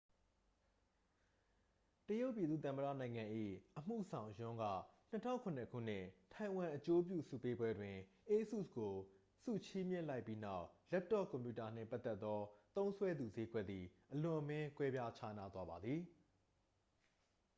တရုတ်ပြည်သူ့သမ္မတနိုင်ငံ၏ အမှုဆောင် ယွန်း က 2007 ခုနှစ် ထိုင်ဝမ်အကျိုးပြုဆုပေးပွဲတွင် asus ကို ဆုချီးမြှင့်လိုက်ပြီးနောက် လပ်တော့ကွန်ပြူတာနှင့်ပတ်သက်သော သုံးစွဲသူစျေးကွက်သည် အလွန်အမင်း ကွဲပြားခြားနားသွားပါသည်